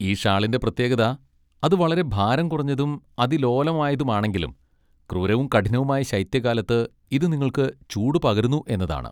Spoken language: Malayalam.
ഈ ഷാളിന്റെ പ്രത്യേകത, അത് വളരെ ഭാരം കുറഞ്ഞതും അതിലോലമായതുമാണെങ്കിലും ക്രൂരവും കഠിനവുമായ ശൈത്യകാലത്ത് ഇതു നിങ്ങൾക്ക് ചൂടുപകരുന്നു എന്നതാണ്.